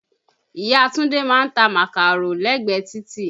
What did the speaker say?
Ìyá Túndé ma ń ta màkàró lẹ́gbẹ̀ẹ títì.